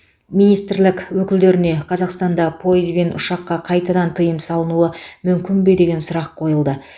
министрлік өкілдеріне қазақстанда пойыз бен ұшаққа қайтадан тыйым салынуы мүмкін бе деген сұрақ қойылды